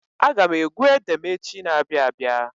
Aga m egwu ede m echi na-abịa abịa.